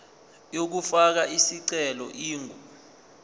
yokufaka isicelo ingu